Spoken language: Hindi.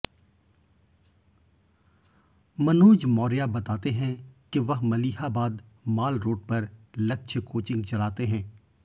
मनोज मौर्या बताते हैं कि वह मलिहाबाद माल रोड पर लक्ष्य कोचिंग चलाते हैं